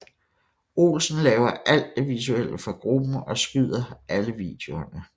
Olsen laver alt det visuelle for gruppen og skyder alle videoerne